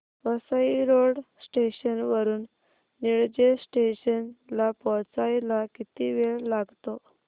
Vasai road station वरून Nilje station ला पोहचायला किती वेळ लागतो